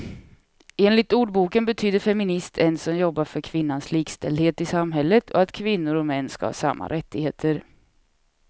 Enligt ordboken betyder feminist en som jobbar för kvinnans likställdhet i samhället och att kvinnor och män ska ha samma rättigheter.